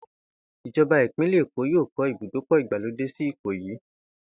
Ìjo̩ba ìpínlè̩ Èkó yóò kó̩ ibùdókò̩ ìgbàlódé sí Ìkòyí